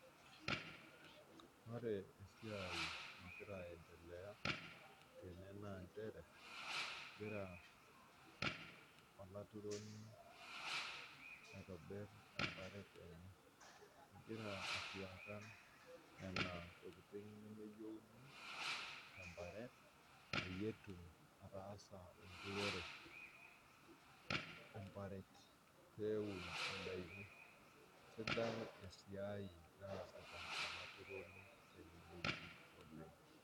Ore esiai nagira entelea tene naa inchere egira olaituroni aitobiri emparet enye, egira aifyekan nena tokitin nemeyeuni te nemeyeuni te imparet peyie etum ataasa enturore, emparet peun indaki. Esidai esiai nasita elaituroni tene weji oleng.